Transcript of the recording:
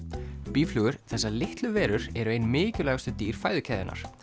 býflugur þessar litlu verur eru ein mikilvægustu dýr fæðukeðjunnar